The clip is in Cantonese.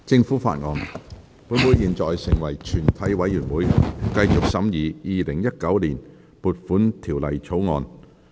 本會現在成為全體委員會，繼續審議《2019年撥款條例草案》。